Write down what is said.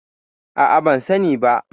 A'a, ban sani ba.